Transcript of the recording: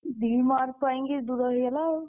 ଦି mark ପାଇଁକିଦୂର ହେଇଗଲା ଆଉ।